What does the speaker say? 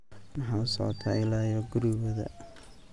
Maxaa usocota ila yo kurigodha.